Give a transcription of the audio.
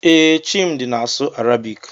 Ee, Chimdi na-asụ Arabik.